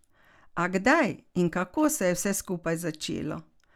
A kdaj in kako se je vse skupaj začelo?